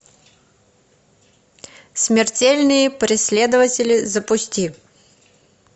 смертельные преследователи запусти